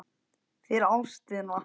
fyrir ástina